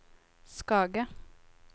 Skage